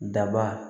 Daba